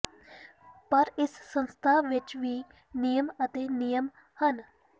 ਪਰ ਇਸ ਸੰਸਥਾ ਵਿਚ ਵੀ ਨਿਯਮ ਅਤੇ ਨਿਯਮ ਹਨ